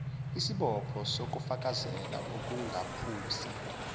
isibopho sokufakazela ukungaphusi